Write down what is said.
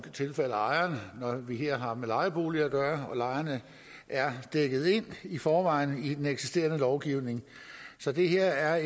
tilfalde ejerne når vi her har med lejeboliger at gøre og lejerne er dækket ind i forvejen i den eksisterende lovgivning så det her er